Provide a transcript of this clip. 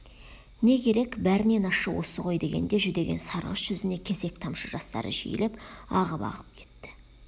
не керек бәрінен ащы осы ғой дегенде жүдеген сарғыш жүзіне кесек тамшы жастары жиілеп ағып-ағып кетті